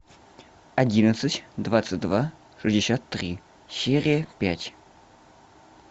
одиннадцать двадцать два шестьдесят три серия пять